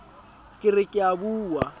ke re ke a bua